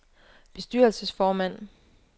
bestyrelsesformand